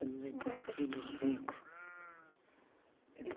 Boda de vinte e cinco.